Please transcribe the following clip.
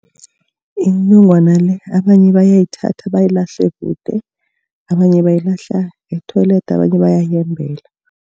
Inongwana le abanye bayayithatha bayilahle kude. Abanye bayilahla e-toilet, abanye bayayembela.